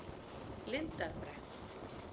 Lindarbrekku